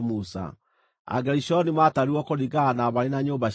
Agerishoni maatarirwo kũringana na mbarĩ na nyũmba ciao.